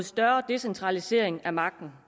større decentralisering af magten